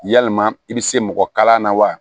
Yalima i bɛ se mɔgɔ kalanna wa